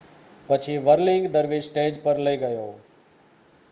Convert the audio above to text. પછી વર્લિંગ દરવીશ સ્ટેજ પર લઈ ગયો